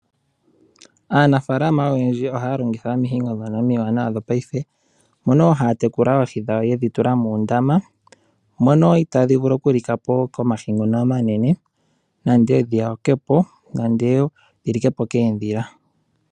Aanafaalama oyendji ohaya longitha omihingo ndhono omiwanawa dhopaife, mono wo haya tekula oohi dhawo yedhi tula muundama. Mono itadhi vulu oku likapo komahi ngono omanene, nande dhi yakwepo nande dhi likepo koondhila.